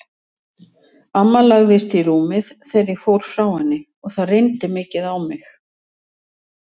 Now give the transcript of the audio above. Amma lagðist í rúmið þegar ég fór frá henni og það reyndi mikið á mig.